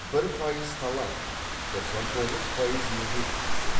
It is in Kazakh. бір пайыз талант тоқсан тоғыз пайыз еңбек дейсің